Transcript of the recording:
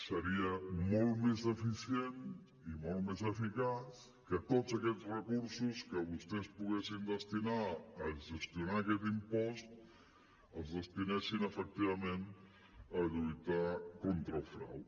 seria molt més eficient i molt més eficaç que tots aquests recursos que vostès poguessin destinar a gestionar aquest impost es destinessin efectivament a lluitar contra el frau